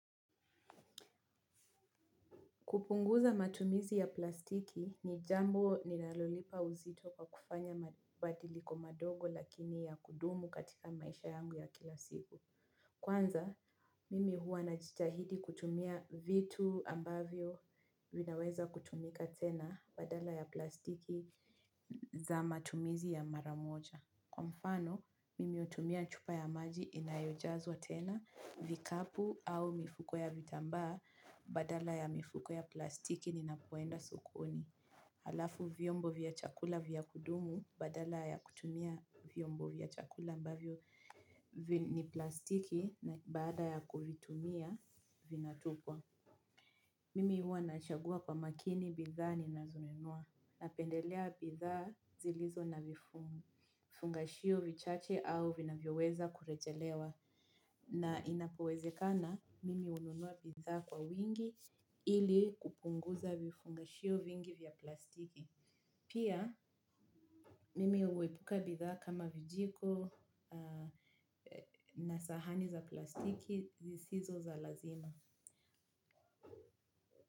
Kupunguza matumizi ya plastiki ni jambo linalolipa uzito kwa kufanya mabadiliko madogo lakini ya kudumu katika maisha yangu ya kila siku. Kwanza, mimi huwa najitahidi kutumia vitu ambavyo vinaweza kutumika tena badala ya plastiki za matumizi ya mara moja. Kwa mfano, mimi hutumia chupa ya maji inayojazwa tena, vikapu au mifuko ya vitambaa badala ya mifuko ya plastiki ninapoenda sokoni. Halafu vyombo vya chakula vya kudumu badala ya kutumia vyombo vya chakula ambavyo ni plastiki na baada ya kuvitumia vinatupwa. Mimi huwa nachagua kwa makini bidhaa ninazonunua. Napendelea bidhaa zilizo na vifungashio vichache au vinavyoweza kurejelewa. Na inapowezekana mimi hununua bidhaa kwa wingi ili kupunguza vifungashio vingi vya plastiki. Pia mimi huepuka bidhaa kama vijiko na sahani za plastiki zisizo za lazima.